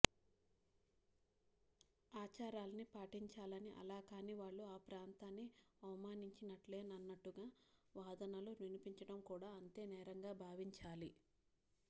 ఆచారాల్ని పాటించాలని అలా కాని వాళ్లు ఆ ప్రాంతాన్ని అవమానించినట్లేనన్నట్లుగా వాదనలు వినిపించటం కూడా అంతే నేరంగా భావించాలి